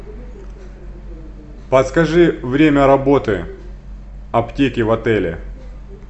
подскажи время работы аптеки в отеле